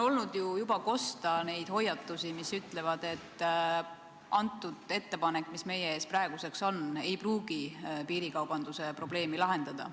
On juba kuulda olnud hoiatusi, et ettepanek, mis meie ees praegu on, ei pruugi piirikaubanduse probleemi lahendada.